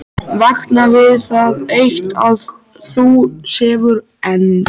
Vakna við það eitt að hún sefur enn.